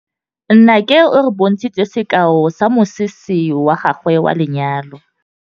Nnake o re bontshitse sekaô sa mosese wa gagwe wa lenyalo.